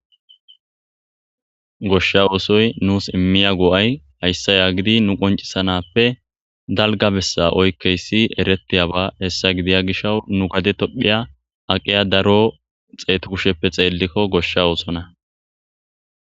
Goshsha oosoy nuus immiya go7ay hayssa yaagidi nu qoncisanappe dalga bessa oykkeyssi eretiyaba hessa gidiya gishaw nu gade tohphiya aqiya daro xeetu kusheppe xeellikko goshsha oosona